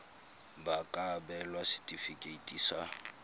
ba ka abelwa setefikeiti sa